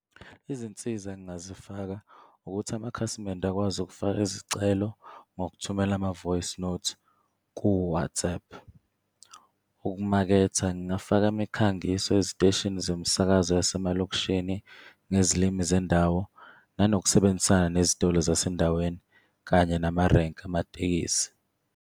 Izinsiza engingazifaka ukuthi amakhasimende akwazi ukufaka izicelo ngokuthumela ama-voicenote ku-WhatsApp. Ukumaketha ngingafaka imikhangiso eziteshini zomsakazo yasemalokishini ngezilimi zendawo, nanokusebenzisana nezitolo zasendaweni, kanye namarenki amatekisi.